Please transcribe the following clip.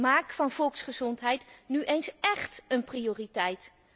Maak van volksgezondheid nu eens écht een prioriteit.